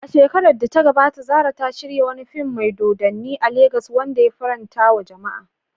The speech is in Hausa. A shekarar da ta gabata, Zarah ta shirya wani fim mai dodanni a Legas wanda ya farantawa jama'a.